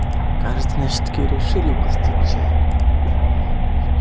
кажется меня всё-таки решили угостить чаем